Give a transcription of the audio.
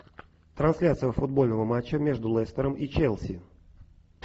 трансляция футбольного матча между лестером и челси